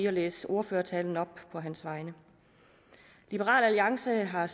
at læse ordførertalen op på hans vegne liberal alliance har